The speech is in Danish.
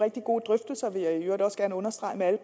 rigtig gode drøftelser vil jeg i øvrigt også gerne understrege med alle